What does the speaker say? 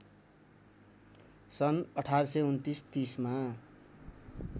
सन् १८२९ ३० मा